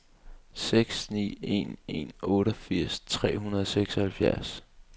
seks ni en en otteogfirs tre hundrede og seksoghalvfjerds